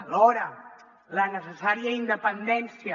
alhora la necessària independència